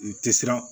N tɛ siran